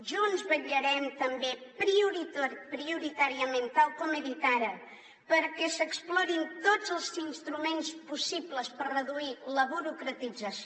junts vetllarem també prioritàriament tal com he dit ara perquè s’explorin tots els instruments possibles per reduir la burocratització